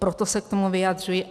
Proto se k tomu vyjadřuji.